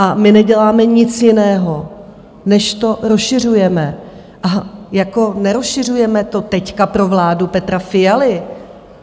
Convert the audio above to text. A my neděláme nic jiného, než to rozšiřujeme, a jako nerozšiřujeme to teď pro vládu Petra Fialy.